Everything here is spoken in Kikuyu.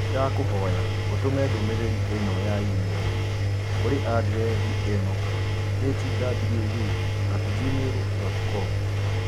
Nĩndakũhoya ũtũme ndũmĩrĩri ino ya i-mīrū kũrĩ andirethi ĩno hwu at gmail dot com